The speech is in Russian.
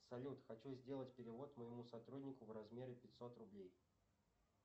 салют хочу сделать перевод моему сотруднику в размере пятьсот рублей